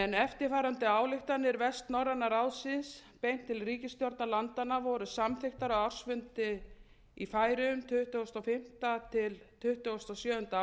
eftirfarandi ályktanir vestnorræna ráðsins beint til ríkisstjórna landanna voru samþykktar á ársfundi í færeyjum tuttugasta og fimmta til tuttugasta og sjöunda